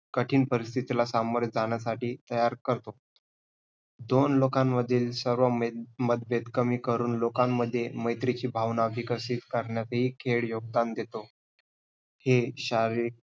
कठीण परिस्थितीला सामोरे जाण्यासाठी तयार करतो. दोन लोकांमधील सर्व मेत~ मतभेद कमी करून लोकांमध्ये मैत्रीची भावना विकसित करण्यात ही खेळ योगदान देतो. हे शारीरिक